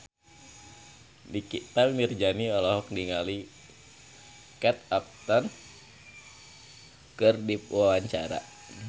Nikita Mirzani olohok ningali Kate Upton keur diwawancara